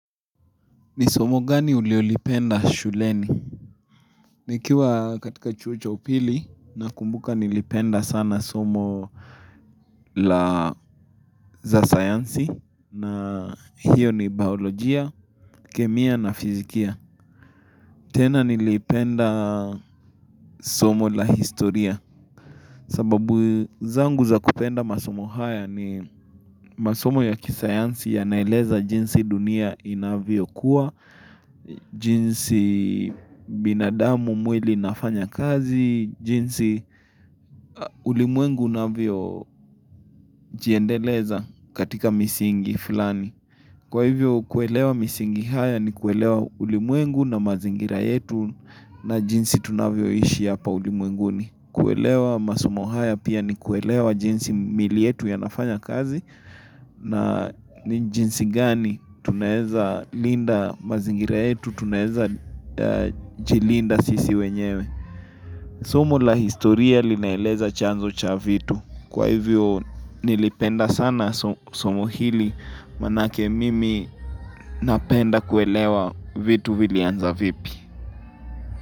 Ni somo gani ulio lipenda shuleni? Nikiwa katika chuo cha upili na kumbuka nilipenda sana somo la za sayansi na hiyo ni bayolojia, kemia na fizikia. Tena nilipenda somo la historia. Sababu zangu za kupenda masomo haya ni masomo ya kisayansi yanaeleza jinsi dunia inavyo kuwa, jinsi binadamu mwili inafanya kazi, jinsi ulimwengu unavyo jiendeleza katika misingi fulani. Kwa hivyo kuelewa misingi haya ni kuelewa ulimwengu na mazingira yetu na jinsi tunavyo ishi hapa ulimwenguni. Kuelewa masomo haya pia ni kuelewa jinsi mili yetu yanafanya kazi na jinsi gani tunaeza linda mazingira yetu, tunaeza linda jilinda sisi wenyewe. Somo la historia linaeleza chanzo cha vitu Kwa hivyo nilipenda sana somo hili Manake mimi napenda kuelewa vitu vilianza vipi.